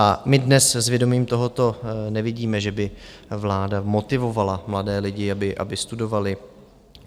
A my dnes s vědomím tohoto nevidíme, že by vláda motivovala mladé lidi, aby studovali.